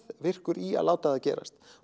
meðvirkur í að láta það gerast